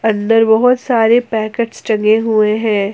अंदर बहोत सारे पैकेट्स टंगे हुए हैं।